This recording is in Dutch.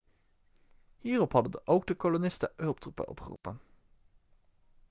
hierop hadden ook de kolonisten hulptroepen opgeroepen